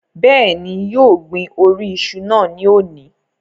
Bẹ́ẹ̀ni, yóò gbin orí iṣu náà ní òní